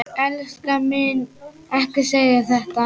Elskan mín, ekki segja þetta!